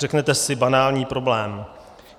Řeknete si - banální problém.